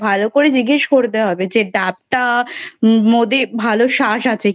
ভালো করে জিজ্ঞেস করতে হবে যে ডাবটার মধ্যে ভালো শাঁস আছে কি না